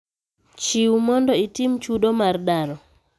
Chiw mondo itim chudo mar daro